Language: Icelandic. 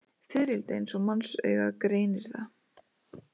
Fiðrildi eins og mannsaugað greinir það.